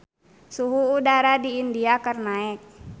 Suhu udara di India keur naek